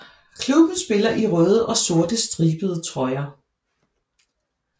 Klubben spiller i røde og sorte stribede trøjer